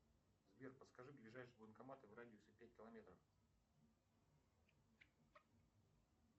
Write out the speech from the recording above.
сбер подскажи ближайший банкомат в радиусе пять километров